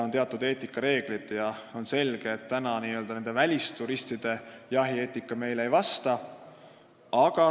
On teatud eetikareeglid, ja selge on see, et praegu välisturistide jahieetika neile ei vasta.